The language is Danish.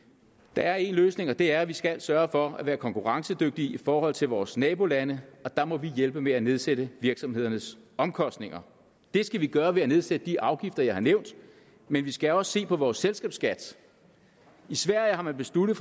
der er en løsning og det er at vi skal sørge for at være konkurrencedygtige i forhold til vores nabolande og der må vi hjælpe med at nedsætte virksomhedernes omkostninger det skal vi gøre ved at nedsætte de afgifter jeg har nævnt men vi skal også se på vores selskabsskat i sverige har man besluttet